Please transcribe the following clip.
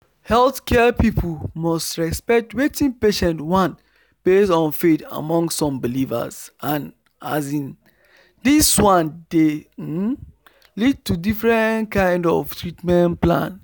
healthcare people must respect wetin patients want based on faith among some believers and um this one dey um lead to different kind of treatment plan